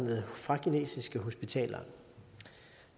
til